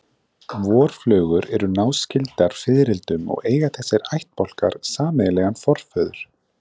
Vorflugur eru náskyldar fiðrildum og eiga þessir ættbálkar sameiginlegan forföður.